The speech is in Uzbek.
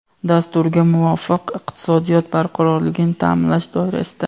Dasturga muvofiq, iqtisodiyot barqarorligini taʼminlash doirasida:.